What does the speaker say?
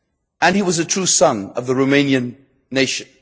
And he was a true son of the Romanian nation.